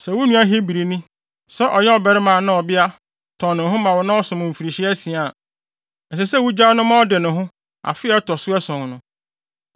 Sɛ wo nua Hebrini, sɛ ɔyɛ barima anaa ɔbea, tɔn ne ho ma wo na ɔsom wo mfirihyia asia a, ɛsɛ sɛ wugyaa no ma ɔde ne ho afe a ɛto so ason no.